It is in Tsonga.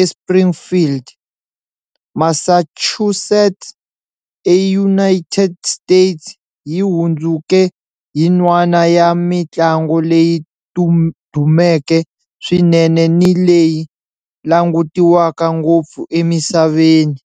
eSpringfield, Massachusetts, eUnited States, yi hundzuke yin'wana ya mintlango leyi dumeke swinene ni leyi langutiwaka ngopfu emisaveni.